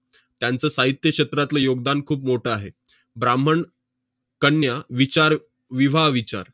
त्यांचं साहित्य क्षेत्रातलं योगदान खूप मोठं आहे. ब्राम्हण कन्या विचार, विवाह विचार